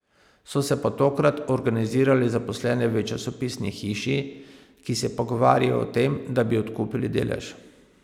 So se pa tokrat organizirali zaposleni v časopisni hiši, ki se pogovarjajo o tem, da bi odkupili delež.